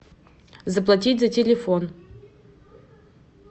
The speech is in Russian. заплатить за телефон